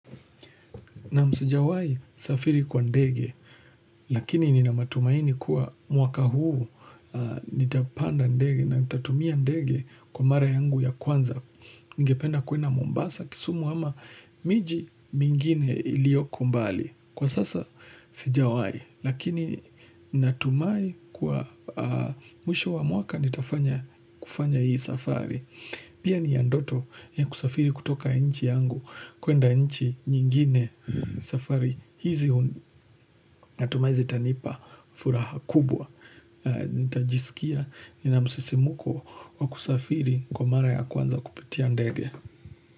Naam sijawai safiri kwa ndege, lakini nina matumaini kuwa mwaka huu nitapanda ndege na nitatumia ndege kwa mara yangu ya kwanza. Ningependa kwenda Mombasa kisumu ama miji mingine ilioko mbali. Kwa sasa sijawai, lakini natumai kuwa mwisho wa mwaka nitafanya kufanya hii safari. Pia ni ya ndoto ya kusafiri kutoka inchi yangu kwenda inchi nyingine safari. Hizi natumai zitanipa furaha kubwa. Nita jisikia ni na msisimuko wa kusafiri kwa mara ya kwanza kupitia ndege.